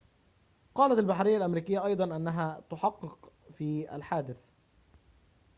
قالت البحرية الأمريكية أيضًا أنها تُحَقق في الحادثِ